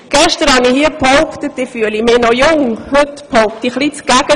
Gestern habe ich hier behauptet, ich fühlte mich noch jung – heute behaupte ich eher das Gegenteil.